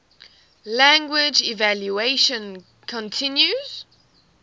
language evolution continues